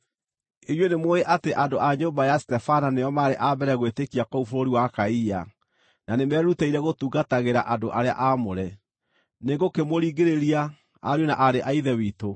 Inyuĩ nĩmũũĩ atĩ andũ a nyũmba ya Stefana nĩo maarĩ a mbere gwĩtĩkia kũu bũrũri wa Akaia, na nĩmerutĩire gũtungatagĩra andũ arĩa aamũre. Nĩngũkĩmũringĩrĩria, ariũ na aarĩ a Ithe witũ,